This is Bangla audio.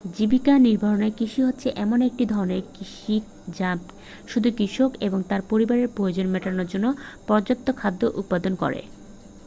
জীবিকা নির্বাহক কৃষি হচ্ছে এমন এক ধরণের কৃষি যা শুধু কৃষক এবং তার পরিবারের প্রয়োজন মেটানোর জন্য পর্যাপ্ত খাদ্য উৎপাদন করে